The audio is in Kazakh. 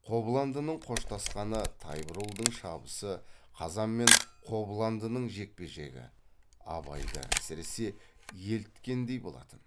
қобландының қоштасқаны тайбурылдың шабысы қазан мен қобландының жекпе жегі абайды әсіресе еліткендей болатын